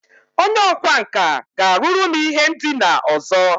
Onye ọkwá nkà ga-arụru m ihe ndina ọzọ